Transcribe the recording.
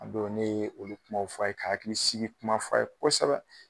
A don ,ne ye olu kumaw f'a ye , ka hakili sigi kumaw f'a ye kosɛbɛ.